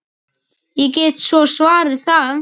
Ég get svo svarið það.